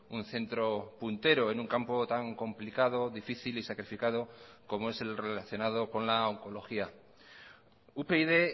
un centro puntero en un campo tan complicado difícil y sacrificado como es el relacionado con la oncología upyd